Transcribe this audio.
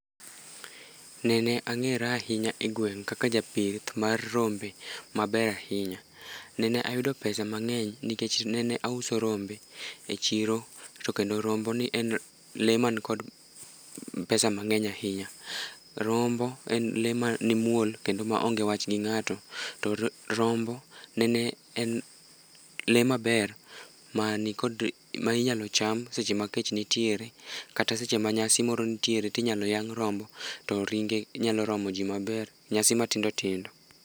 Nene ang'era ahinya e gweng' kaka japith mar rombe maber ahinya. Nene ayudo pesa mang'eny nikech nene auso rombe e chiro to kendo romboni en lee mankod pesa mang'eny ahinya. Rombo en lee mamuol kendo maonge wach gi ng'ato to rombo nene en lee maber ma inyalo cham seche ma kech nitiere kata seche ma nyasi moro ntiere tinyalo yang' rombo moro to ringe nyalo romo ji maber, nyasi matindotindo.